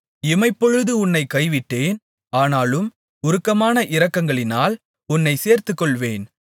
இமைப்பொழுது உன்னைக் கைவிட்டேன் ஆனாலும் உருக்கமான இரக்கங்களால் உன்னைச் சேர்த்துக்கொள்வேன்